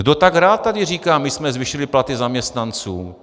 Kdo tak rád tady říká "my jsme zvýšili platy zaměstnancům"?